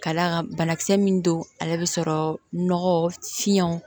Ka d'a kan banakisɛ min don ale bɛ sɔrɔ nɔgɔ fiɲɛ